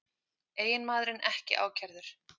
Eiginmaðurinn ekki ákærður